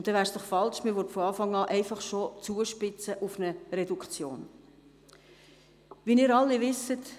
Dann wäre es falsch, wenn man von Anfang an auf eine Reduktion zuspitzen würde.